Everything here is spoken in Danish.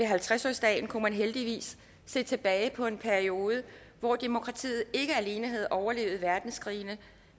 halvtreds årsdagen kunne man heldigvis se tilbage på en periode hvor demokratiet ikke alene havde overlevet verdenskrigene